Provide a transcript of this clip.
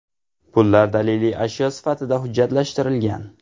Pullar daliliy ashyo sifatida hujjatlashtirilgan.